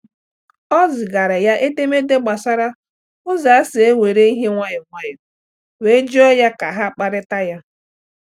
Ọ zigaara ya edemede gbasara ụzọ esi ewere ihe nwayọọ nwayọọ, wee jụọ ya ka ha kparịta ya.